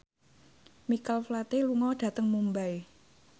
Michael Flatley lunga dhateng Mumbai